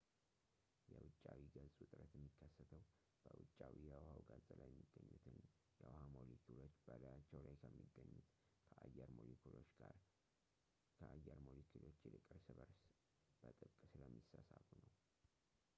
የ ውጫዊ ገጽ ውጥረት የሚከተሰው በውጫዊው የውሃው ገጽ ላይ የሚገኙት የውሃ ሞለኪውሎች በላያቸው ላይ ከሚገኙት ከአየር ሞለኪውሎች ይልቅ እርስ በእርሳቸው በጥብቅ ስለሚሳሳቡ ነው